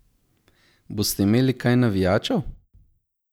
Boste imeli kaj navijačev?